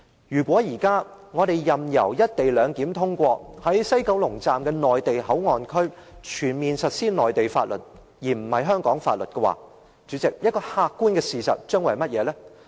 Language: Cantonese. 如果我們現在任由有關"一地兩檢"的《條例草案》通過，在西九龍站的內地口岸區全面實施內地法律而非香港法律，代理主席，客觀的事實將會是甚麼？